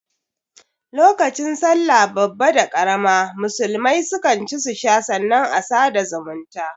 Lokacin sallah babba da karama musulmai su kan ci su sha sannan a sada da zumunta